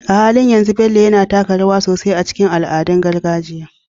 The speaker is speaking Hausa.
A halin yanzu, Bello yana taka rawa sosai a cikin al'adun gargajiya